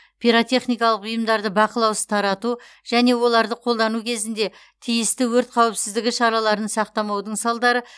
пиротехникалық бұйымдарды бақылаусыз тарату және оларды қолдану кезінде тиісті өрт қауіпсіздігі шараларын сақтамаудың салдары